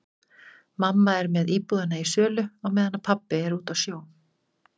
Mamma er með íbúðina í sölu á meðan pabbi er úti á sjó.